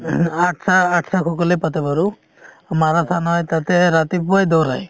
সকলে পাতে বাৰু, মাৰাথান হয় ,তাতে ৰাতিপুৱাই দৌৰাই